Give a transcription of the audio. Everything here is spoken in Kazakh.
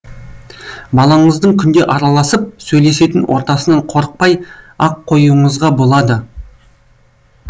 балаңыздың күнде араласып сөйлесетін ортасынан қорықпай ақ қойуыңызға болады